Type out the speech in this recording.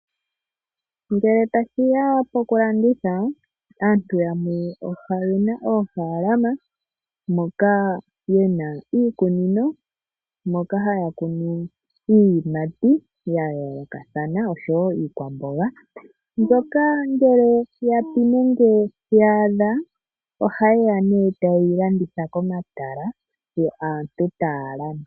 Ngele ta shiya poku landitha, aantu yamwe oyena oofaalama mpoka yena iikunino mpoka haya kunu iiyimati ya yoolokathana osho woo iikwamboga, mbyoka ngele ya ya pi nenge yaadha oha ye ya nee tayeyi landitha komatala, yo aantu taa landa.